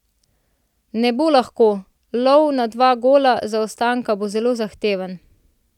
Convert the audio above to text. Ne bo lahko, lov na dva gola zaostanka bo zelo zahteven.